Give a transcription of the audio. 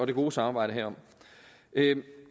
det gode samarbejde herom